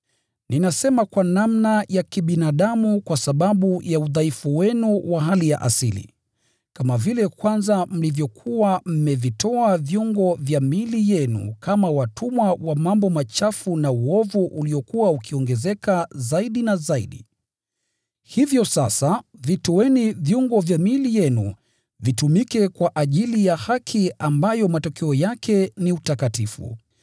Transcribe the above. Ninasema kwa namna ya kibinadamu kwa sababu ya udhaifu wenu wa hali ya asili. Kama vile mlivyokuwa mkivitoa viungo vya miili yenu kama watumwa wa mambo machafu na uovu uliokuwa ukiongezeka zaidi, hivyo sasa vitoeni viungo vyenu kama watumwa wa haki inayowaelekeza mpate kutakaswa.